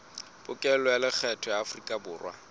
pokello ya lekgetho ya aforikaborwa